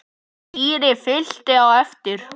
Týri fylgdi á eftir.